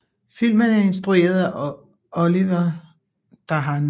Filmen er instrueret af Olivier Dahan